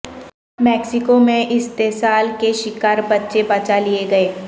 Mexico میں استحصال کے شکار بچے بچا لیے گئے